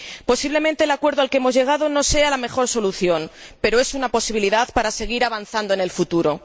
Posiblemente el acuerdo al que hemos llegado no sea la mejor solución, pero es una posibilidad para seguir avanzando en el futuro.